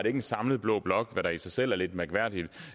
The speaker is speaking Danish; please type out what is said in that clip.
en samlet blå blok hvad der i sig selv er lidt mærkværdigt